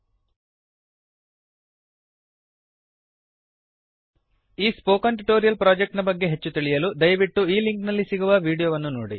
000923 000922 ಈ spoken tutorial project ನ ಬಗ್ಗೆ ಹೆಚ್ಚು ತಿಳಿಯಲು ದಯವಿಟ್ಟು ಈ ಲಿಂಕ್ ನಲ್ಲಿ ಸಿಗುವ ವೀಡಿಯೋ ವನ್ನು ನೋಡಿ